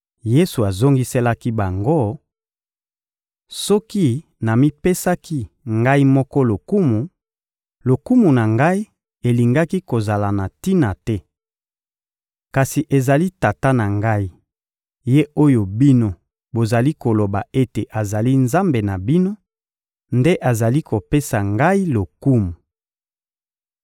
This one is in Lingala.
Yesu azongiselaki bango: — Soki namipesaki Ngai moko lokumu, lokumu na Ngai elingaki kozala na tina te. Kasi ezali Tata na Ngai, Ye oyo bino bozali koloba ete azali Nzambe na bino, nde azali kopesa Ngai lokumu.